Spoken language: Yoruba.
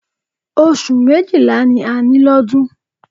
Oṣù méjìlá ni a ní lọ́dún